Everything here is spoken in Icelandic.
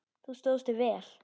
Þú stóðst þig vel.